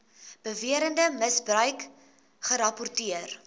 beweerde misbruik gerapporteer